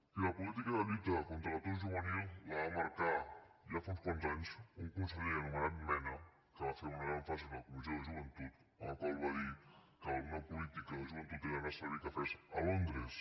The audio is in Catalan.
i la política de lluita contra l’atur juvenil la va marcar ja fa uns quants anys un conseller anomenat mena que va fer una gran frase en la comissió de joventut en la qual va dir que una política de joventut era anar a servir cafès a londres